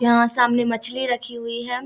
यहाँ सामने मछली रखी हुई है।